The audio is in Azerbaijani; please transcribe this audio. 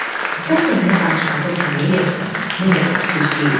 Bəlkə mənə danışmaqda kömək eləyəsən, nə qədər ki gec deyil.